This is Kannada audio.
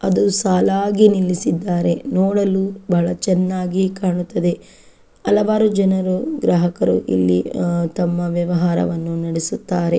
ಅದು ಸಾಲಾಗಿ ನಿಲ್ಲಿಸಿದ್ದಾರೆ ನೋಡಲು ಬಹಳ ಚೆನ್ನಾಗಿ ಕಾಣುತಿದೆ ಹಲವಾರು ಜನರು ಗ್ರಾಹಕರು ಇಲ್ಲಿ ಅಹ್ ತಮ್ಮ ವ್ಯವಹಾರವನ್ನು ನಡೆಸುತ್ತಾರೆ.